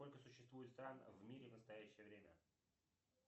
сколько существует стран в мире в настоящее время